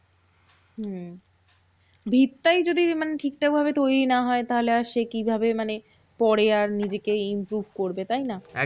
হম ভিত টাই যদি মানে ঠিকঠাক ভাবে তৈরী না হয়, তাহলে আর সে কিভাবে? মানে পরে আর নিজেকে improve করবে, তাইনা?